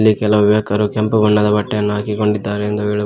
ಕೆಲವು ಯುವಕರು ಕೆಂಪು ಬಣ್ಣದ ಬಟ್ಟೆಯನ್ನು ಹಾಕಿಕೊಂಡಿದ್ದಾರೆ ಎಂದು ಹೇಳಬಹು--